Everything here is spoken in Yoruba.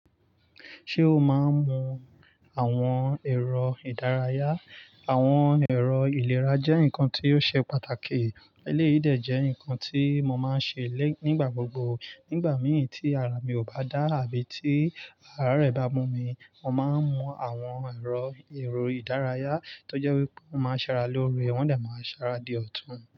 Ṣé o máa ń mu àwọn ẹ̀rọ ìdárayá? Àwọn ẹ̀rọ ìlera jẹ́ nǹkan tí ó ṣe pàtàkì. Elẹ́yìn dé jẹ́ nǹkan tí mo máa ń ṣe nígbà gbogbo. Nígbà mìí tí ara mi ò bá dá àbí tí ara rẹ̀ bá mú mi, mo máa ń mu àwọn ẹ̀rọ èrò ìdárayá tó jẹ́ wípé mo máa ń ṣẹ́ ara lóore, wọ́n dà máa ń ṣẹ́ ara di ọ̀tún.